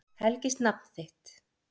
Helgist nafn þitt.